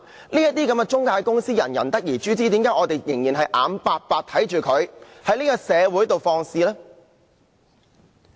這些中介公司人人得而誅之，為何我們仍然眼白白看着它們在社會上放肆呢？